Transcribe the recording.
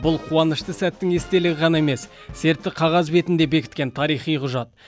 бұл қуанышты сәттің естелігі ғана емес сертті қағаз бетінде бекіткен тарихи құжат